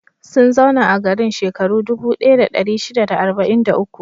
Sun zauna a garin shekaru dubu ɗaya da ɗari shida da arba'in da uku.